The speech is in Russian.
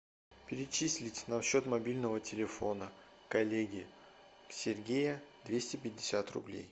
перечислить на счет мобильного телефона коллеги сергея двести пятьдесят рублей